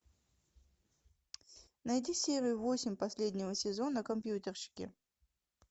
найди серию восемь последнего сезона компьютерщики